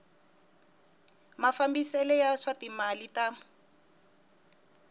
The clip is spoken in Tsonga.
mafambisele ya swa timali ta